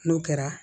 N'o kɛra